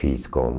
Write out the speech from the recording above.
Fiz com...